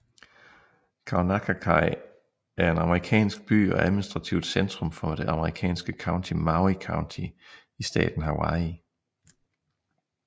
Kaunakakai er en amerikansk by og administrativt centrum for det amerikanske county Maui County i staten Hawaii